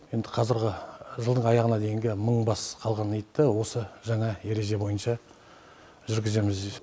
енді қазіргі жылдың аяғына дейінгі мың бас қалған итті осы жаңа ереже бойынша жүргіземіз